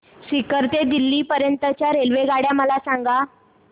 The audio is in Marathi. सीकर ते दिल्ली पर्यंत च्या रेल्वेगाड्या मला सांगा